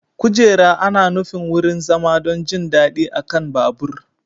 Kujera ana nufin wurin zama don jin daɗi a kan babur.